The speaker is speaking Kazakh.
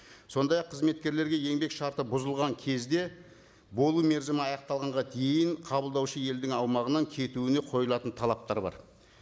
сондай ақ қызметкерлерге еңбек шарты бұзылған кезде болу мерзімі аяқталғанға дейін қабылдаушы елдің аумағынан кетуіне қойылатын талаптар бар